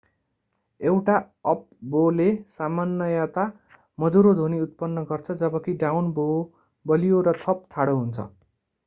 एउटा अप-बोले सामान्यतया मधुरो ध्वनि उत्पन्न गर्छ जबकि डाउन बो बलियो र थप ठाडो हुन्छ